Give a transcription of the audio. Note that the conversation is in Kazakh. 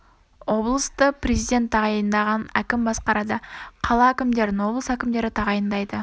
облысты президенті тағайындаған кім басқарады қала әкімдерін облыс әкімдері тағайындайды